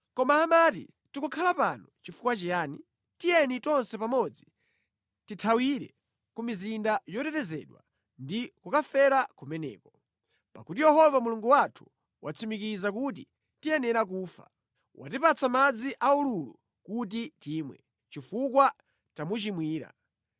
Koma amati, “Tikukhala pano chifukwa chiyani? Tiyeni tonse pamodzi tithawire ku mizinda yotetezedwa ndi kukafera kumeneko. Pakuti Yehova Mulungu wathu watsimikiza kuti tiyenera kufa. Watipatsa madzi aululu kuti timwe, chifukwa tamuchimwira.